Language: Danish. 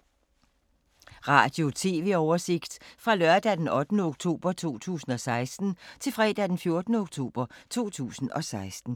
Radio/TV oversigt fra lørdag d. 8. oktober 2016 til fredag d. 14. oktober 2016